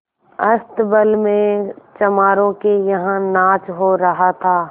अस्तबल में चमारों के यहाँ नाच हो रहा था